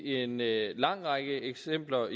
lang række eksempler